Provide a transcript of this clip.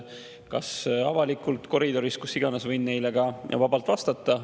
Kas avalikult või koridoris või kus iganes võin neile vabalt vastata.